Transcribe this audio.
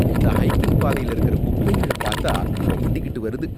இந்த ஹைக்கிங் பாதையில இருக்கிற குப்பைங்கள பாத்தா கொமட்டிகிட்டு வருது.